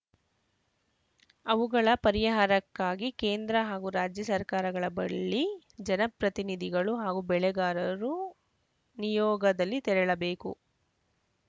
ಅವುಗಳ ಪರಿಹಾರಕ್ಕಾಗಿ ಕೇಂದ್ರ ಹಾಗೂ ರಾಜ್ಯ ಸರ್ಕಾರಗಳ ಬಳ್ಳಿ ಜನಪ್ರತಿನಿಧಿಗಳು ಹಾಗೂ ಬೆಳೆಗಾರರು ನಿಯೋಗದಲ್ಲಿ ತೆರಳಬೇಕು